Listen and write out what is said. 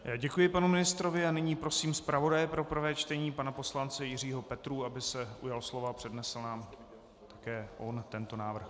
Děkuji panu ministrovi a nyní prosím zpravodaje pro prvé čtení, pana poslance Jiřího Petrů, aby se ujal slova a přednesl nám také on tento návrh.